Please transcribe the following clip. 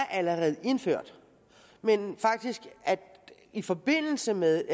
allerede er indført men i forbindelse med